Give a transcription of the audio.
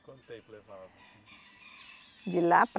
Quanto tempo levava, assim? De lá